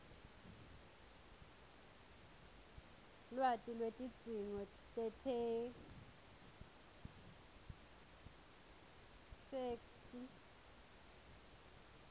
lwati lwetidzingo tetheksthi